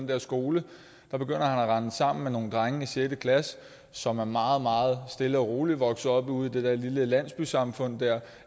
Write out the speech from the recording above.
der skole at rende sammen med nogle drenge i sjette klasse som er meget meget stille og rolige er vokset op ude i det der lille landsbysamfund